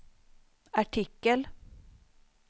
artikel